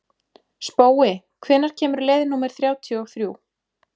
Spói, hvenær kemur leið númer þrjátíu og þrjú?